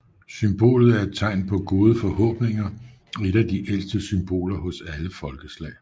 Symbolet er et tegn på gode forhåbninger og et af de ældste symboler hos alle folkeslag